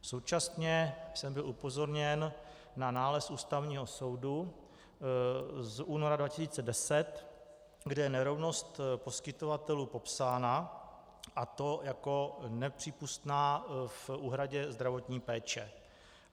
Současně jsem byl upozorněn na nález Ústavního soudu z února 2010, kde je nerovnost poskytovatelů popsána, a to jako nepřípustná v úhradě zdravotní péče.